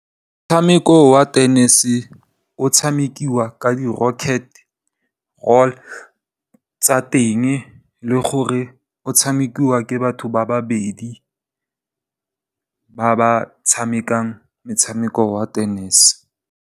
Motshameko wa tenese o tshamekiwa ka di rocket roll tsa teng le gore o tshamekiwa ke batho ba babedi ba ba tshamekang motshameko wa tenese.